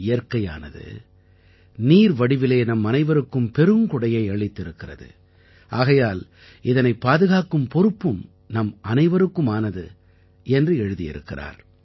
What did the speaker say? இயற்கையானது நீர் வடிவிலே நம்மனைவருக்கும் பெருங்கொடையை அளித்திருக்கிறது ஆகையால் இதனைப் பாதுகாக்கும் பொறுப்பும் நம்மனைவருக்குமானது என்று எழுதியிருக்கிறார்